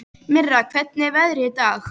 Mirra, hvernig er veðrið í dag?